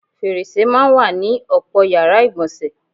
Fèrèsè máa ń wà ní ò̩pò̩ yàrá ìgbò̩nsè̩.